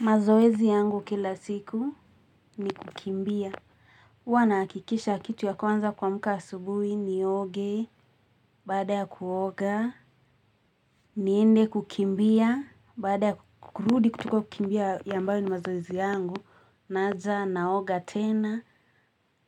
Mazoezi yangu kila siku ni kukimbia huwa nahakikisha kitu ya kwanza kuamka asubuhi nioge. Baada ya kuoga niende kukimbia. Baada ya kurudi kutoka kukimbia ambayo ni mazoezi yangu naja naoga tena.